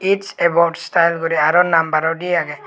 it's about style guri arow nambaro dey agey.